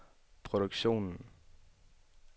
produktionen